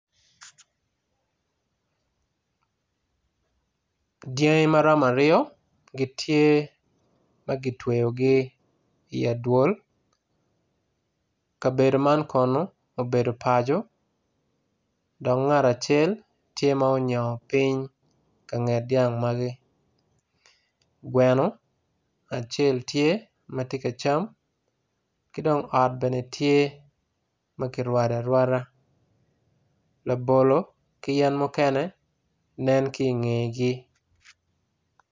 Dyangi maromo aryo gitye magitweo gi i adwol kabedo man kono obedo paco dok ngat acel tye ma onyongo ping kanget dyang magi gweno acel tye matye ka cam kidong ot bene tye makirwado arwada labolo ki yen mukene nen kinge gi.